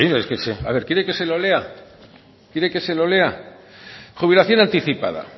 quiere que se lo lea jubilación anticipada